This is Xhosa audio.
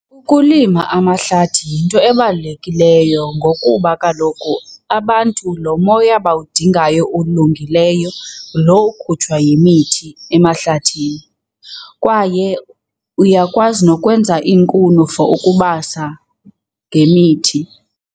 Ukulima amahlathi yinto ebalulekileyo ngokuba kaloku abantu lo moya bawudingayo ulungileyo ngulo ukhutshwa yimithi emahlathini. Kwaye uyakwazi nokwenza iinkuni for ukubasa ngemithi.